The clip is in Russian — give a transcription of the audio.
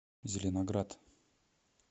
зеленоград